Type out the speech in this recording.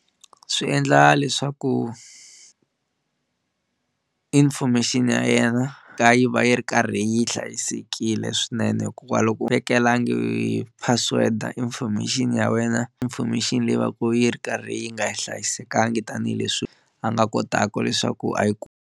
Swi endla leswaku information ya yena ka yi va yi ri karhi yi hlayisekile swinene hikuva loko u vekelangi password information ya wena information leyi va ka yi ri karhi yi nga hlayisekangi tanihileswi a nga kotaku leswaku a yi .